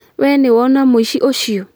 We nĩwona mũici ũcio